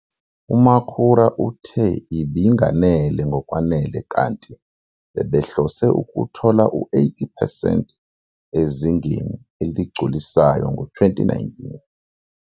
UMakhura uthe ibinganele ngokwenele kanti bebehlose ukuthola u-80 percent ezingeni eligculisayo ngo-2019.